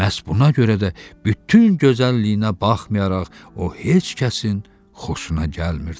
Məhz buna görə də bütün gözəlliyinə baxmayaraq, o heç kəsin xoşuna gəlmirdi.